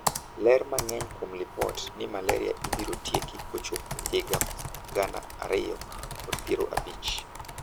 Ler mang'eny kuom lipot ni malaria ibiro tieki kochopo higa gana ariyom kod piero abich?